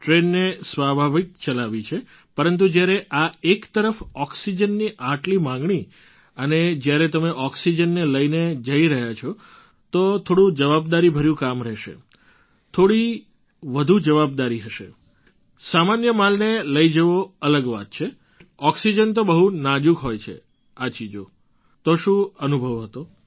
ટ્રેનને સ્વાભાવિક ચલાવી છે પરંતુ જ્યારે આ એક તરફ ઑક્સિજનની આટલી માગણી અને જ્યારે તમે ઑક્સિજનને લઈને જઈ રહ્યા છો તો થોડું જવાબદારીભર્યું કામ રશે થોડી વધુ જવાબદારી હશે સામાન્ય માલને લઈ જવી અલગ વાત છે ઑક્સિજન તો બહુ નાજુક હોય છે આ ચીજો તો શું અનુભવ થયો હતો